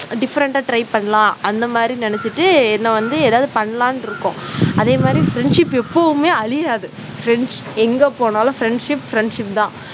different அ try பண்ணலாம். அந்த மாதிரி நெனச்சிட்டு என்னை வந்து ஏதாவது பண்ணலாம்னு இருக்கோம். அதே மாதிரி, friendship எப்பவுமே அழியாத friends எங்க போனாலும் friendship friendship தான்